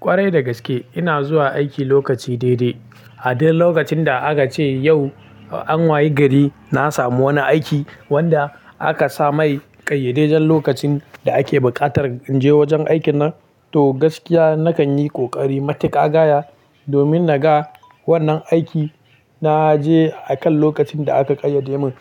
Ƙwarai dagaske ina zuwa aiki lokaci daidai. A duk lokacin da aka ce yau an wayi gari na samu wani aiki wanda aka sa mai ƙayyadaidan lokacin da ake buƙatar in je wajen aikin nan to gaskiya nakan yi ƙoƙari matiƙa gaya domin na ga wannan aiki. Na je akan lokacin da aka ƙayyade mun.